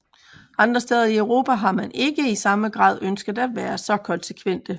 Andre steder i Europa har man ikke i sammen grad ønsket at være så konsekvente